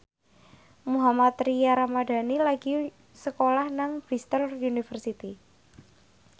Mohammad Tria Ramadhani lagi sekolah nang Bristol university